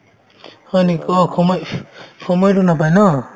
হয় নেকি অ সময় সময়তো নাপাই ন